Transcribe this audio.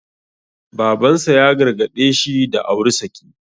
Baban sa ya gargaɗe shi da auri saki.